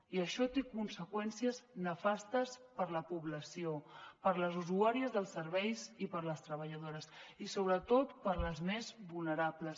i això té conseqüències nefastes per a la població per a les usuàries dels serveis i per a les treballadores i sobretot per a les més vulnerables